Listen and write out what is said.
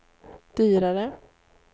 dyrare